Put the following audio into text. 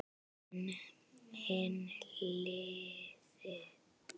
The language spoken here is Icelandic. En hin hliðin.